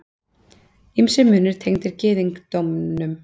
Ýmsir munir tengdir gyðingdómnum.